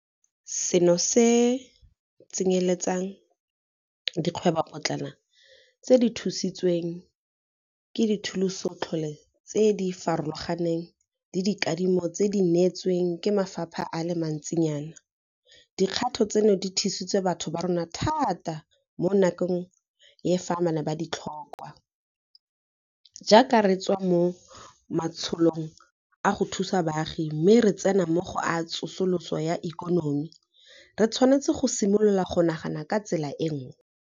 Seno se tsenyeletsa le dikgwebopotlana tse di thusitsweng ke dithusotlole tse di farologaneng le dikadimo tse di neetsweng ke mafapha a le mantsinyana. Dikgato tseno di thusitse batho ba rona thata mo nakong ya fa ba ne ba di tlhokwa. Jaaka re tswa mo matsholong a go thusa baagi mme re tsena mo go a tsosoloso ya ikonomi, re tshwanetse go simolola go nagana ka tsela e nngwe.